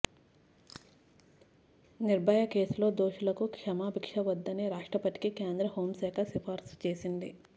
నిర్భయ కేసులో దోషులకు క్షమాభిక్ష వద్దని రాష్ట్రపతికి కేంద్రహోంశాఖ సిఫారసు చేసింది